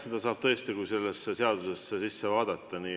Seda saab teada siis, kui sellesse seadusesse sisse vaadata.